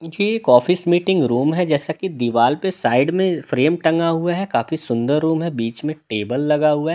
ये एक office meeting room है जैसा कि दीवार पे साइड में फ्रेम टंगा हुआ है काफी सुंदर रूम है बीच में टेबल लगा हुआ है।